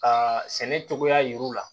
Ka sɛnɛ cogoya yir'u la